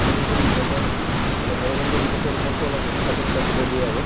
তদুপৰি সিহঁতে মানে গণতন্ত্ৰ দিৱসৰ ওপৰতো অলপ lecture টেকচাৰ দিব দিয়ে আৰু।